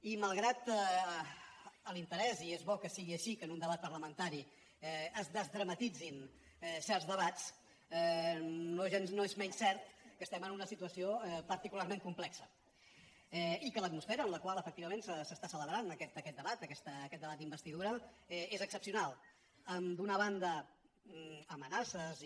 i malgrat l’interès i és bo que sigui així que en un debat parlamentari es desdramatitzin certs debats no és menys cert que estem en una situació particularment complexa i que l’atmosfera en la qual efectivament s’està celebrant aquest debat aquest debat d’investidura és excepcional d’una banda amenaces i